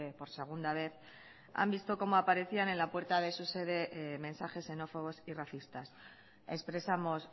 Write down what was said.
por segunda vez han visto como aparecían en la puerta de su sede mensajes xenófobos y racistas expresamos